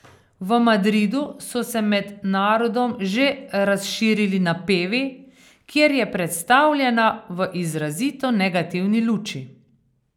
V Madridu so se med narodom že razširili napevi, kjer je predstavljena v izrazito negativni luči.